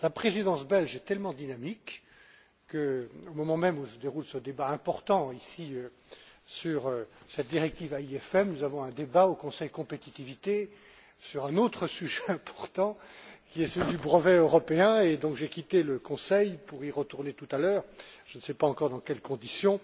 La Présidence belge est tellement dynamique que, au moment même où se déroule ce débat important, ici, sur cette directive AIFM, nous avons un débat au Conseil Compétitivité sur un autre sujet important, qui est celui du brevet européen, et donc j'ai quitté le Conseil pour y retourner tout à l'heure, je ne sais pas encore dans quelles conditions,